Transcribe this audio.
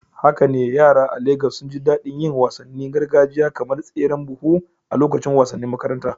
Haka ne, yara a Legas sun ji daɗin yin wasannin gargajiya kamar tseren buhu a lokacin wasannin makaranta.